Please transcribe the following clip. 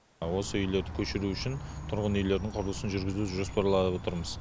осы үйлерді көшіру үшін тұрғын үйлердің құрылысын жүргізуді жоспарлап отырмыз